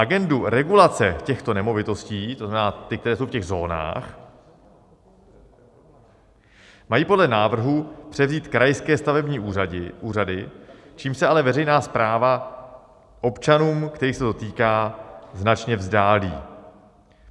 Agendu regulace těchto nemovitostí, to znamená ty, které jsou v těch zónách, mají podle návrhu převzít krajské stavební úřady, čímž se ale veřejná správa občanům, kterých se to týká, značně vzdálí.